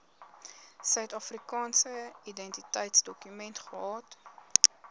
suidafrikaanse identiteitsdokument gehad